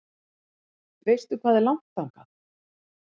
Veistu hvað er langt þangað?